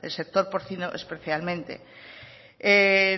del sector porcino especialmente